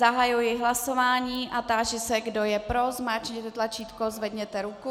Zahajuji hlasování a táži se, kdo je pro, zmáčkněte tlačítko, zvedněte ruku.